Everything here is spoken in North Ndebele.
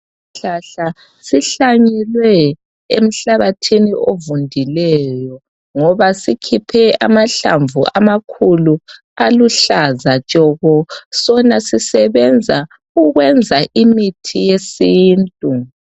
Isihlahla sihlanyelwe emhlabathini ovundileyo, ngoba sikhiphe amahlamvu amakhulu aluhlaza tshoko. Sona sisebenza ukwenza imithi yesintu.